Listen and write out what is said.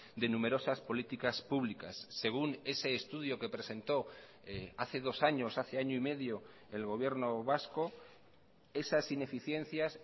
de numerosas políticas públicas según ese estudio que presentó hace dos años hace año y medio el gobierno vasco esas ineficiencias